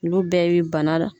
Olu bɛɛ bɛ bana la.